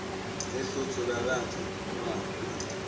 le hlothola la theoga a